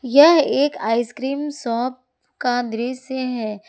यह एक ice cream shop का दृश्य है।